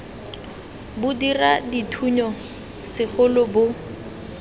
bo dira dithuno segolo bo